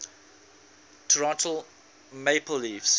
toronto maple leafs